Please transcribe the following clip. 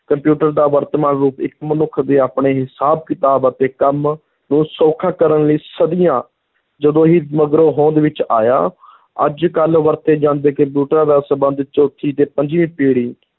computer ਦਾ ਵਰਤਮਾਨ ਰੂਪ ਇੱਕ ਮਨੁੱਖ ਦੇ ਆਪਣੇ ਹਿਸਾਬ-ਕਿਤਾਬ ਅਤੇ ਕੰਮ ਨੂੰ ਸੌਖਾ ਕਰਨ ਲਈ ਸਦੀਆਂ ਜੱਦੋਂ ਹੀ ਮਗਰੋਂ ਹੋਂਦ ਵਿੱਚ ਆਇਆ ਅੱਜ-ਕਲ ਵਰਤੇ ਜਾਂਦੇ ਕੰਪਿਊਟਰਾਂ ਦਾ ਸੰਬੰਧ ਚੌਥੀ ਤੇ ਪੰਜਵੀਂ ਪੀੜ੍ਹੀ